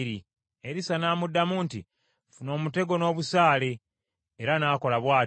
Erisa n’amuddamu nti, “Ffuna omutego n’obusaale,” era n’akola bw’atyo.